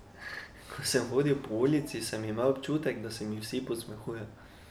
Ko sem hodil po ulici, sem imel občutek, da se mi vsi posmehujejo.